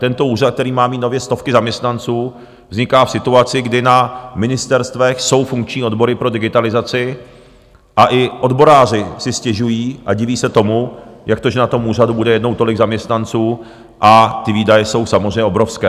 Tento úřad, který má mít nově stovky zaměstnanců, vzniká v situaci, kdy na ministerstvech jsou funkční odbory pro digitalizaci, a i odboráři si stěžují a diví se tomu, jak to, že na tom úřadu bude jednou tolik zaměstnanců, a ty výdaje jsou samozřejmě obrovské.